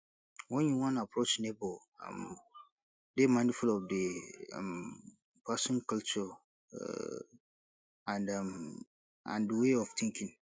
when you wan approach neigbour um dey mindful of di um person culture um and um and way of thinking